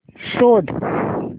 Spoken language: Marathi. शोध